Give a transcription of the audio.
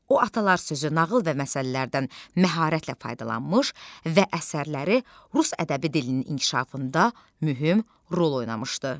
O atalar sözü, nağıl və məsəllərdən məharətlə faydalanmış və əsərləri rus ədəbi dilinin inkişafında mühüm rol oynamışdı.